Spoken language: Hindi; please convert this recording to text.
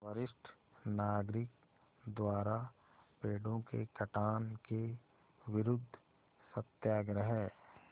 वरिष्ठ नागरिक द्वारा पेड़ों के कटान के विरूद्ध सत्याग्रह